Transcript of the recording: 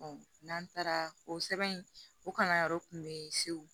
n'an taara o sɛbɛn in o kalanyɔrɔ tun be yen segu